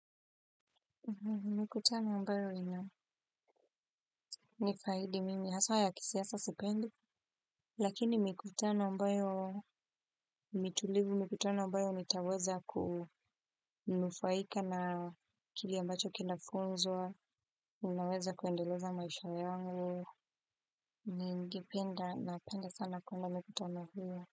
Mikutano ambayo nina nifaidi mimi haswa ya kisiasa sipendi. Lakini mikutana ambayo ni tulivu mikutano ambayo nitaweza kunufaika na kile ambacho kinafunzwa. Unaweza kuendeleza maisha yangu. Ningependa napenda sana kwenda mikutano hiyo.